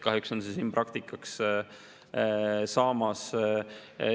Kahjuks on see siin praktikaks saamas.